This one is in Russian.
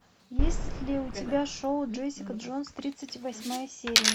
есть ли у тебя шоу джессика джонс тридцать восьмая серия